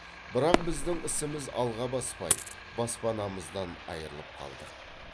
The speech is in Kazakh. бірақ біздің ісіміз алға баспай баспанамыздан айырылып қалдық